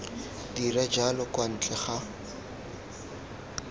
dira jalo kwa ntle ga